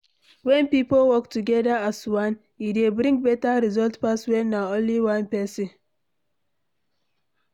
When pipo work together as one, e dey bring better result pass when na only one person